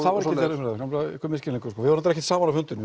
er einhver misskilningur við vorum ekki saman á fundinum